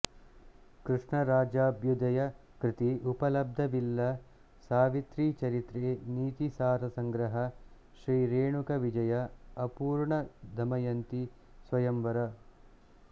ಕೃಷ್ಣರಾಜಾಭ್ಯುದಯ ಕೃತಿ ಉಪಲಬ್ಧವಿಲ್ಲ ಸಾವಿತ್ರೀ ಚರಿತ್ರೆ ನೀತಿಸಾರಸಂಗ್ರಹ ಶ್ರೀ ರೇಣುಕ ವಿಜಯ ಅಪೂರ್ಣ ದಮಯಂತೀ ಸ್ವಯಂವರ